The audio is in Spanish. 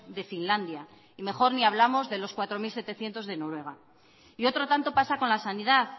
de finlandia y mejor ni hablamos de los cuatro mil setecientos de noruega y otro tanto pasa con la sanidad